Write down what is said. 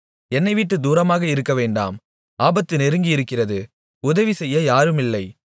என்னைவிட்டுத் தூரமாக இருக்கவேண்டாம் ஆபத்து நெருங்கியிருக்கிறது உதவி செய்ய யாரும் இல்லை